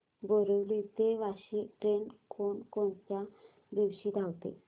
बोरिवली ते वापी ट्रेन कोण कोणत्या दिवशी धावते